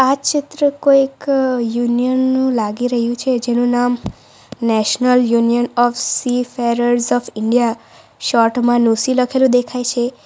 આ ચિત્ર કોઈક યુનિયન નું લાગી રહ્યું છે જેનું નામ national union of seafarers of India short માં નુસી લખેલું દેખાય છે.